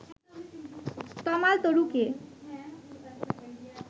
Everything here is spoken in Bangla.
তমাল তরুকে